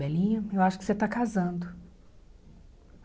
Belinha, eu acho que você está casando.